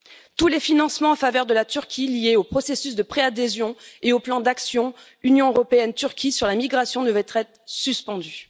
Tous les financements en faveur de la Turquie liés au processus de pré adhésion et au plan d'action Union européenne Turquie sur la migration devraient être suspendus.